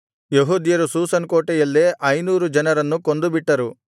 ಯೆಹೂದ್ಯರು ಶೂಷನ್ ಕೋಟೆಯಲ್ಲೇ ಐನೂರು ಜನರನ್ನು ಕೊಂದುಬಿಟ್ಟರು